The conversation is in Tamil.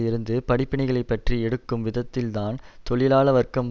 இருந்து படிப்பினைகளை பற்றி எடுக்கும் விதத்தில்தான் தொழிலாள வர்க்கம்